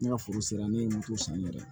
Ne ka foro sera ne ye moto san n yɛrɛ ye